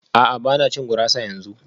A'a ba na cin gurasa yanzu